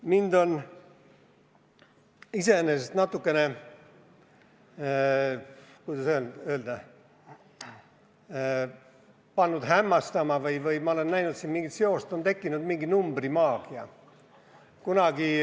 Mind on iseenesest natukene hämmastanud ja ma olen näinud siin mingit seost, et meil on tekkinud teatud numbrimaagia.